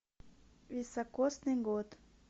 високосный год